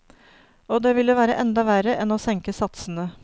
Og det ville være enda verre enn å senke satsene.